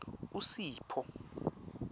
usipho